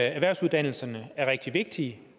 at erhvervsuddannelserne er rigtig vigtige